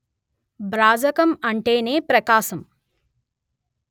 భ్రాజకం అంటేనే ప్రకాశం